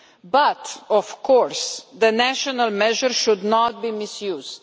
But of course the national measures should not be misused.